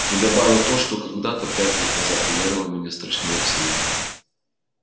и добавил то что когда-то пять лет назад ударило меня страшнее всего